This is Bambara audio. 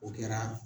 O kɛra